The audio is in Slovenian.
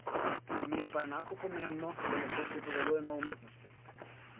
Mi je pa enako pomembno, da lahko pripovedujem o umetnosti.